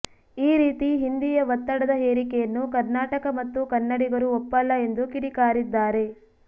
ಈ ರೀತಿ ಹಿಂದಿಯ ಒತ್ತಡದ ಹೇರಿಕೆಯನ್ನು ಕರ್ನಾಟಕ ಮತ್ತು ಕನ್ನಡಿಗರು ಒಪ್ಪಲ್ಲ ಎಂದು ಕಿಡಿಕಾರಿದ್ದಾರೆ